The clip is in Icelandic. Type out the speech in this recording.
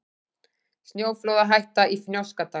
Snjóflóðahætta í Fnjóskadal